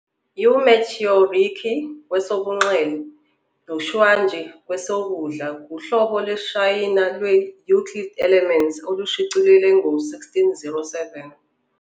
UMatteo Ricci, kwesobunxele, noXu Guangqi, kwesokudla, kuhlobo lwesiShayina lwe-Euclid's Elements olushicilelwe ngo-1607